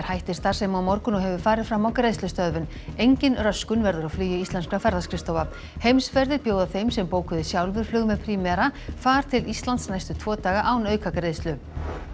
hættir starfsemi á morgun og hefur farið fram á greiðslustöðvun engin röskun verður á flugi íslenskra ferðaskrifstofa Heimsferðir bjóða þeim sem bókuðu sjálfir flug með Primera far til Íslands næstu tvo daga án aukagreiðslu